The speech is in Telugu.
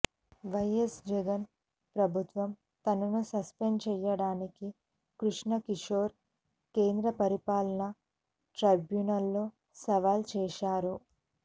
వైఎస్ జగన్ ప్రభుత్వం తనను సస్పెండ్ చేయడాన్ని కృష్ణ కిశోర్ కేంద్ర పరిపాలనా ట్రైబ్యునల్లో సవాల్ చేశారు